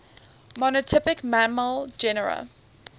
monotypic mammal genera